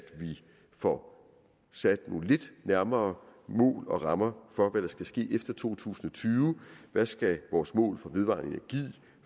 få sat nogle lidt nærmere mål og rammer for hvad der skal ske efter to tusind og tyve hvad skal vores mål